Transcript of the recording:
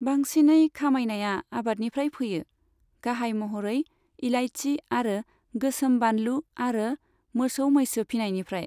बांसिनै खामायनाया आबादनिफ्राय फैयो, गाहाय महरै इलायची आरो गोसोम बानलु आरो मोसौ मैसो फिनायनिफ्राय।